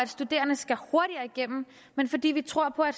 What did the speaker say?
studerende skal hurtigere igennem men fordi vi tror på at